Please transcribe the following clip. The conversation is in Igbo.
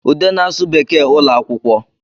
Ude na-asụ Bekee ụlọ akwụkwọ